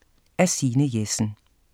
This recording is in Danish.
Af Signe Jessen